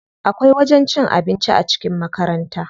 Akwai wajen cin abinci a cikin makaranta.